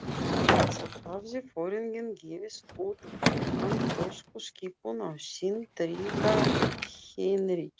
Þá hafði foringinn gefið út handtökuskipun á sinn trygga Heinrich